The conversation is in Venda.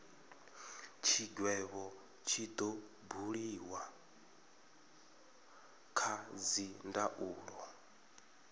tshigwevho tshi do buliwa kha dzindaulo